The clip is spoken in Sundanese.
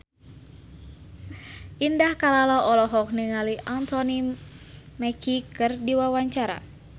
Indah Kalalo olohok ningali Anthony Mackie keur diwawancara